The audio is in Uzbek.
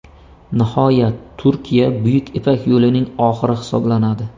Nihoyat, Turkiya Buyuk ipak yo‘lining oxiri hisoblanadi.